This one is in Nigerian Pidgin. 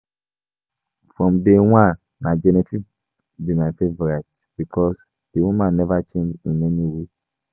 From day one na Genevieve be my favourite because the woman never change in any way